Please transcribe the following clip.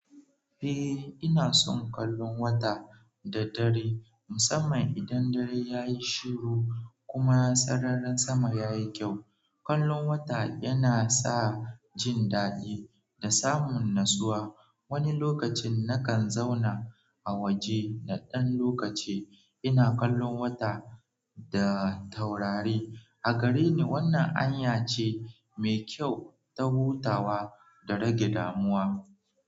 Eh ina son kallon wata da dare, musamman idan dare ya yi shiru kuma sararin sama yayi kyau. Kallon wata yana sa jin daɗi da samun natsuwa. Wani lokacin nakan zauna a waje naɗan lokaci ina kallon wata da taurari. A gare ni, wannan hanya ce mai kyau ta hutawa da rage damuwa.